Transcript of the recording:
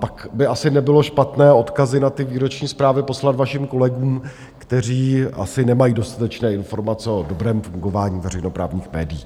Pak by asi nebylo špatné odkazy na ty výroční zprávy poslat vašim kolegům, kteří asi nemají dostatečné informace o dobrém fungování veřejnoprávních médií.